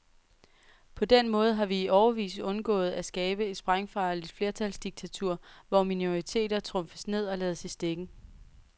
På den måde har vi i årevis undgået at skabe et sprængfarligt flertalsdiktatur, hvor minoriteter trumfes ned og lades i stikken.